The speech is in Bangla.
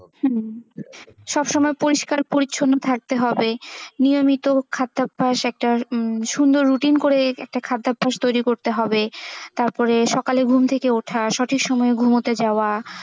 হুম সবসময় পরিস্কার পরিছন্ন থাকতে হবে নিয়মিত খাদ্যভ্যাস, একটা সুন্দর routine উম করে একটা খাদ্যভ্যাস তৈরি করতে হবে তারপরে সকালে ঘুম থেকে ওঠা সঠিক সময়ে ঘুমতে যাওয়া,